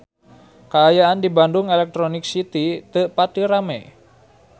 Kaayaan di Bandung Electronic City teu pati rame